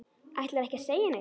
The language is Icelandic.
Ætlarðu ekki að segja neitt?